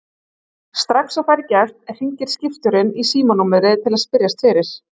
Strax og færi gefst hringir skipstjórinn í símanúmerið til að spyrjast fyrir.